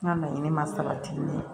N ka laɲini ma sabati